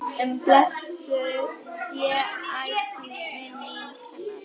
Blessuð sé ætíð minning hennar.